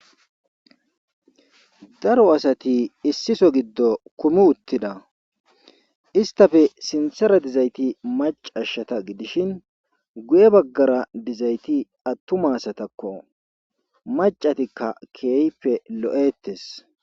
daro asati issiso giddo kumi uttida istafe sinsera dizayti macashshata gidishin guye baggara dizayti attumasatakko macatikka keeype lo7ettes